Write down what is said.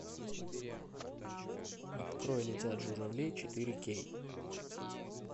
открой летят журавли четыре кей